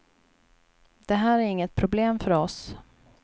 Det här är inget problem för oss.